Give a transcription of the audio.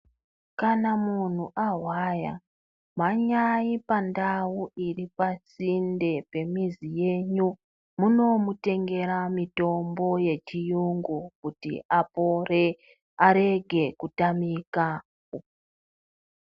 Kana munhu ahwaya, mhanyayi pandau iri pasinde pemizi yenyu, munomutengera mutombo yechiyungu kuti apore ,arege kutamika.